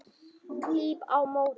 Klíp á móti.